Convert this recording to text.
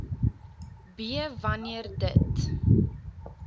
b wanneer dit